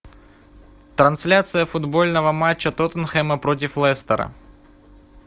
трансляция футбольного матча тоттенхэма против лестера